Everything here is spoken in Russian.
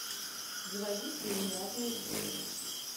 заводи фильм разные судьбы